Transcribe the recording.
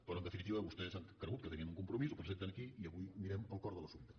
però en definitiva vostès han cregut que tenien un compromís ho presenten aquí i avui anirem al cor de l’assumpte